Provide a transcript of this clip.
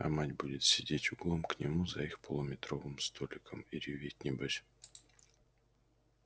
а мать будет сидеть углом к нему за их полуметровым столиком и реветь небось